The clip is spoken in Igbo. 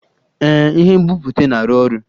Ee, ihe nbipute na-arụ ọrụ